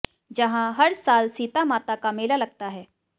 जहां हर साल सीता माता का मेला लगता है